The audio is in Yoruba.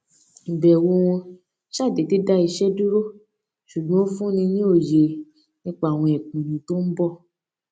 ìbẹwò wọn ṣàdédé dá iṣẹ dúró ṣùgbọn ó fúnni ní òye nípa àwọn ìpinnu tó ń bọ